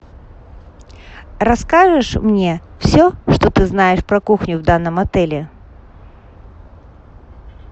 расскажешь мне все что ты знаешь про кухню в данном отеле